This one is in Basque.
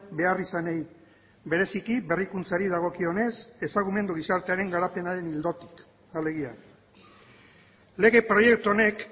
beharrizanei bereziki berrikuntzari dagokionez ezagumendu gizartearen garapenaren ildotik alegia lege proiektu honek